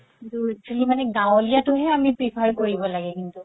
কিন্তু actually মানে গাৱলিয়াতো হে আমি prefer কৰিব লাগে কিন্তু